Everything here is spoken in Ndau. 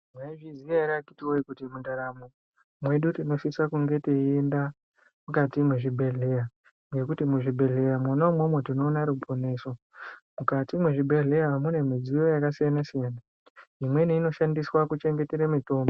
Mwaizviziya ere akhiti woye kuti mundaramo tinosisa kunge teienda mukati mwezvibhehleya ngekuti muzvibhehleya mwona imwomwo tinoona ruponeso. Mukati mwezvibhehleya mune midziyo yakasiyana-siyana. Imweni inoshandiswa kuchengetere mitombo.